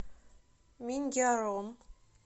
миньяром